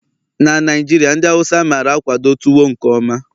na Naijiria ndi Hausa mara-akwado tuwo nke mma